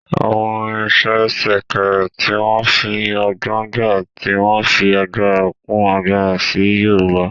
Àwọn irinṣẹ́ Sèkèrè, tí wọ́n fi ọgbọ́n gbá, tí wọ́n fi agbára kún agbára sí Yorùbá